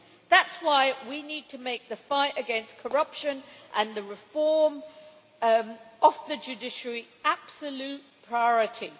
That is why we need to make the fight against corruption and reform of the judiciary absolute priorities.